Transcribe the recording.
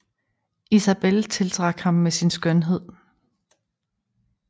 Isabel tiltrak ham med sin skønhed